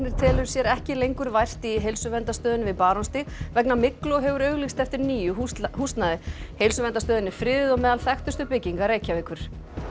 telur sér ekki lengur vært í Heilsuverndarstöðinni við Barónsstíg vegna myglu og hefur auglýst eftir nýju húsnæði húsnæði heilsuverndarstöðin er friðuð og meðal þekktustu bygginga Reykjavíkur